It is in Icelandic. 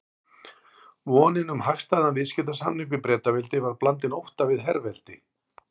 Vonin um hagstæðan viðskiptasamning við Bretaveldi var blandin ótta við herveldi